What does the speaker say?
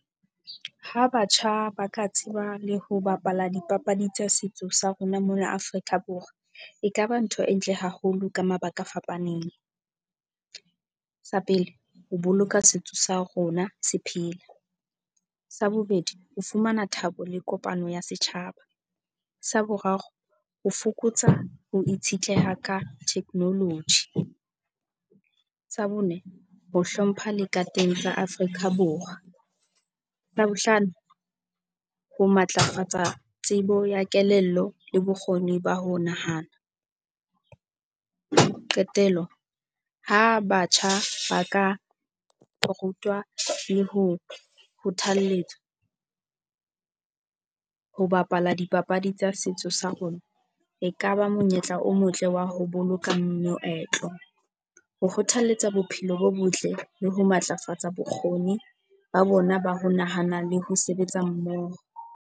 Ha batjha ba ka tseba le ho bapala dipapadi tsa setso sa rona mona Afrika Borwa, ekaba ntho e ntle haholo ka mabaka a fapaneng. Sa pele, ho boloka setso sa rona se phela. Sa bobedi, o fumana thabo le kopano ya setjhaba. Sa boraro, ho fokotsa ho itshetleha ka technology. Sa bone, ho hlompha le ka teng sa Afrika Borwa. La bohlano, ho matlafatsa tsebo ya kelello le bokgoni ba ho nahana. Qetello, ha batjha ba ka rutwa le ho kgothalletswa ho bapala dipapadi tsa setso sa rona, ekaba monyetla o motle wa ho boloka moetlo, ho kgothalletsa bophelo bo botle le ho matlafatsa bokgoni ba bona ba ho nahana le ho sebetsa mmoho.